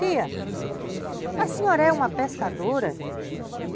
Tia, a senhora é uma pescadora?